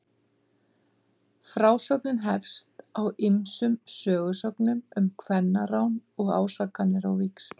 Frásögnin hefst á ýmsum sögusögnum um kvennarán og ásakanir á víxl.